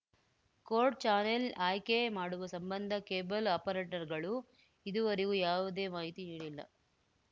court channel ಆಯ್ಕೆ ಮಾಡುವ ಸಂಬಂಧ ಕೇಬಲ್‌ ಆಪರೇಟರ್‌ಗಳು ಇದುವರೆಗೂ ಯಾವುದೇ ಮಾಹಿತಿ ನೀಡಿಲ್ಲ